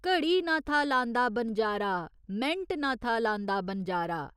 घड़ी न था लांदा बनजारा मैंट न था लांदा बनजारा।